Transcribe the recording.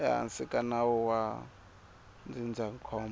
ehansi ka nawu wa ndzindzakhombo